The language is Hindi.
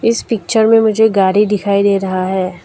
इस पिक्चर में मुझे गाड़ी दिखाई दे रहा है।